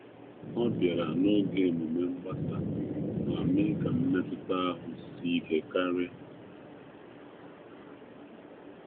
Ọ pụtara n'oge oriri nke una, ma-otiyere kwanu ụzọ ọzọ nwere mmetụta na ihe niile.